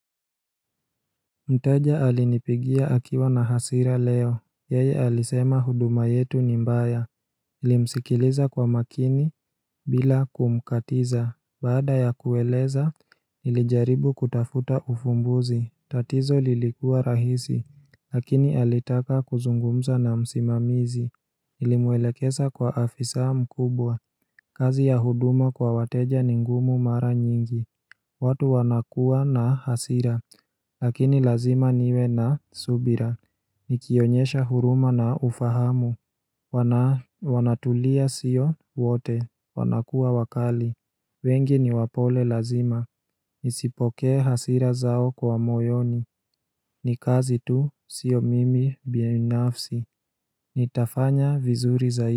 Mteja alinipigia akiwa na hasira leo Yeye alisema huduma yetu ni mbaya nilimsikiliza kwa makini bila kumkatiza Baada ya kueleza nilijaribu kutafuta ufumbuzi tatizo lilikua rahisi Lakini alitaka kuzungumza na msimamizi nilimwelekesa kwa afisa mkubwa kazi ya huduma kwa wateja ni ngumu mara nyingi watu wanakua na hasira Lakini lazima niwe na subira Nikionyesha huruma na ufahamu Wanatulia sio wote wanakuwa wakali wengi ni wapole lazima Nisipokee hasira zao kwa moyoni Nikazi tu sio mimi binafsi Nitafanya vizuri zaidi.